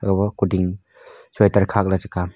kuding sweater khakley chi kam--